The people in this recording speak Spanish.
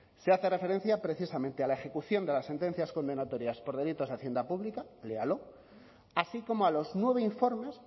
se hace referencia precisamente a la ejecución de las sentencias condenatorias por delitos a hacienda pública léalo así como a los nueve informes